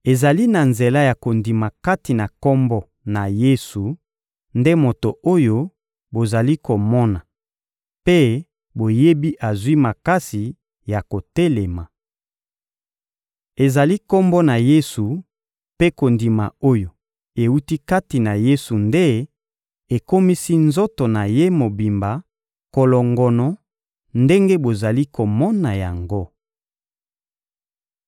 Ezali na nzela ya kondima kati na Kombo na Yesu nde moto oyo bozali komona mpe boyebi azwi makasi ya kotelema. Ezali Kombo na Yesu mpe kondima oyo ewuti kati na Yesu nde ekomisi nzoto na ye mobimba kolongono ndenge bozali komona yango.